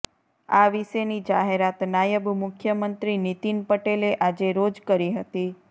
આ વિશેની જાહેરાત નાયબ મુખ્યમંત્રી નીતિન પટેલે આજે રોજ કરી હતી